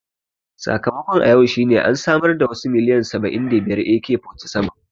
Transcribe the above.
Sakamakon a yau shine an samar da wasu miliyan saba'in da biyar AK-47